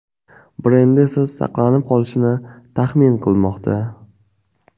brendi esa saqlanib qolishini taxmin qilmoqda.